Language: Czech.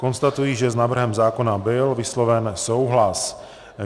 Konstatuji, že s návrhem zákona byl vysloven souhlas.